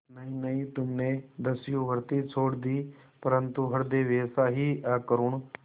नहीं नहीं तुमने दस्युवृत्ति छोड़ दी परंतु हृदय वैसा ही अकरूण